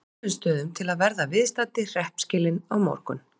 Kolbeinsstöðum til að verða viðstaddir hreppskilin á morgun.